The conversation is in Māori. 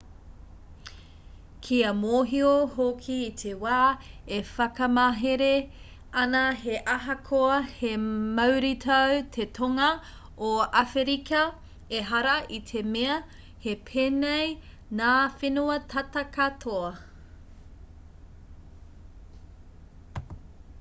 kia mōhio hoki i te wā e whakamāhere ana he ahakoa he mauritau te tonga o awherika ehara i te mea he pēnei ngā whenua tata katoa